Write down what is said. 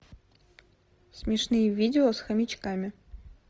смешные видео с хомячками